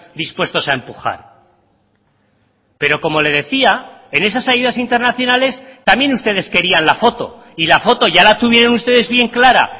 dispuestos a empujar pero como le decía en esas ayudas internacionales también ustedes querían la foto y la foto ya la tuvieron ustedes bien clara